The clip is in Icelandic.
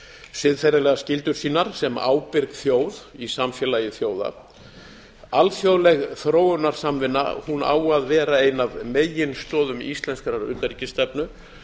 siðferðilegar skyldur sínar sem ábyrg þjóð í samfélagi þjóða alþjóðleg þróunarsamvinna á að vera ein af meginstoðum íslenskrar utanríkisstefnu